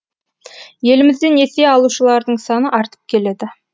елімізде несие алушылардың саны артып келеді